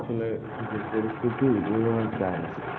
আসলে যে পরিস্থিতি, ওই ও আর যায়না।